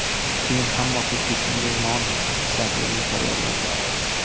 Keyin hamma xuddi shunday non shaklini tayyorladi.